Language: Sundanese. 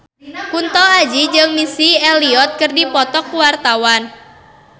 Kunto Aji jeung Missy Elliott keur dipoto ku wartawan